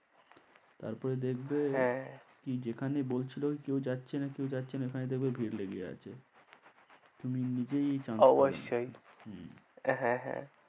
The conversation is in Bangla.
তারপরে দেখবে হ্যাঁ কি যেখানে বলছিল কেউ যাচ্ছে না কেউ যাচ্ছে না সেখানেই দেখবে ভিড় লেগে আছে তুমি নিজেই chance পাবে না, অবশ্যই হম হ্যাঁ হ্যাঁ।